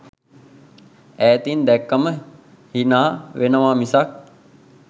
ඈතින් දැක්කම හිනා වෙනවා මිසක්.